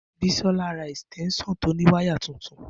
Bisola ra esitensan to ni wire tuntun